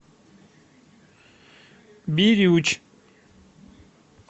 бирюч